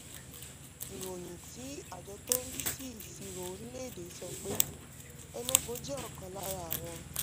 ìròyìn tí àjọ tó ń rí sí ìṣirò orílẹ̀-èdè sọ pé enugu jẹ́ ọ̀kan lára àwọn